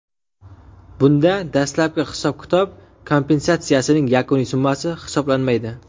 Bunda dastlabki hisob-kitob kompensatsiyaning yakuniy summasi hisoblanmaydi.